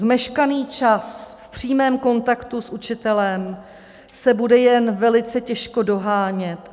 Zmeškaný čas v přímém kontaktu s učitelem se bude jen velice těžko dohánět.